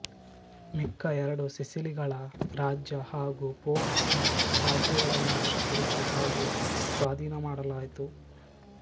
ಮಿಕ್ಕ ಎರಡು ಸಿಸಿಲಿಗಳ ರಾಜ್ಯ ಹಾಗು ಪೋಪ್ ನ ರಾಜ್ಯಗಳನ್ನೂ ವಶಪಡಿಸಿ ಹಾಗು ಸ್ವಾಧೀನಮಾಡಲಾಯಿತು